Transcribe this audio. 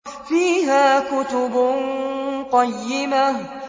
فِيهَا كُتُبٌ قَيِّمَةٌ